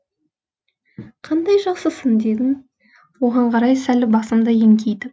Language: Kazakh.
қандай жақсысың дедім оған қарай сәл басымды еңкейтіп